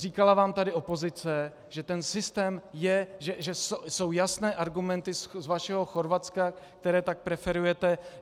Říkala vám tady opozice, že ten systém je, že jsou jasné argumenty z vašeho Chorvatska, které tak preferujete.